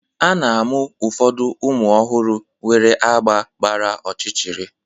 A na-amụ ụfọdụ ụmụ ọhụrụ nwere agba gbara ọchịchịrị.